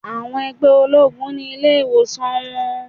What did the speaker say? Àwọn ẹgbẹ́ ológun ni ilé ìwòsàn wọn.